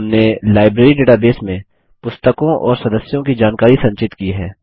हमने library database में पुस्तकों और सदस्यों की जानकारी संचित की है